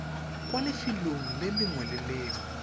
kwa lefelong lengwe le lengwe